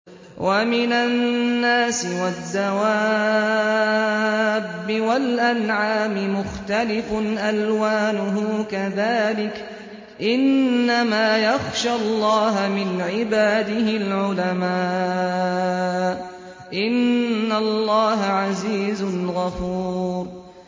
وَمِنَ النَّاسِ وَالدَّوَابِّ وَالْأَنْعَامِ مُخْتَلِفٌ أَلْوَانُهُ كَذَٰلِكَ ۗ إِنَّمَا يَخْشَى اللَّهَ مِنْ عِبَادِهِ الْعُلَمَاءُ ۗ إِنَّ اللَّهَ عَزِيزٌ غَفُورٌ